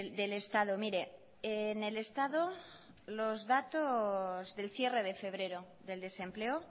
del estado mire en el estado los datos del cierre de febrero del desempleo